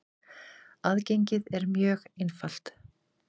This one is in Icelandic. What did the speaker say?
Aðgengið er mjög einfalt.